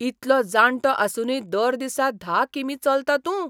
इतलो जाणटो आसूनय दर दिसा धा कि.मी. चलता तूं ?